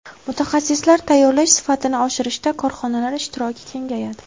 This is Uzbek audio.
Mutaxassislar tayyorlash sifatini oshirishda korxonalar ishtiroki kengayadi.